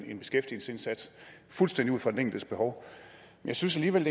en beskæftigelsesindsats fuldstændig ud fra den enkeltes behov jeg synes alligevel